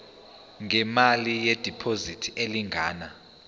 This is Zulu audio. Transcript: ngemali yediphozithi elingana